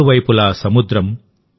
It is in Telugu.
మూడు వైపులా సముద్రం